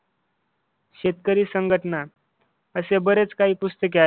शेतकरी संघटना असे बरेच काही पुस्तके आहेत.